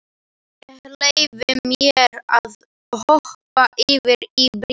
Ég leyfi mér að hoppa yfir í bréfið.